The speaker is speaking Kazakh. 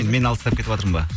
мен алыстап кетіватырмын ба